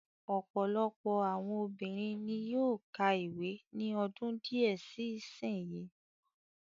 Ọ̀pọ̀lọpọ̀ àwọn obìnrin ni yóó ka ìwé ní ọdún díẹ̀ sí sin yìí.